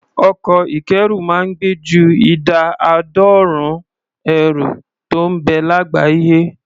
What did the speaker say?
Ọkọ̀ ìkẹ́rù máa ń gbé ju ìdá àádọ́rùn-ún ẹrù tó ń bẹ lágbàáyé.